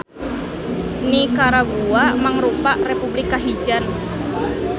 Nikaragua mangrupa republik kahijian.